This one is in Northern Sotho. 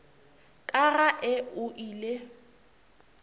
ka ga e go ile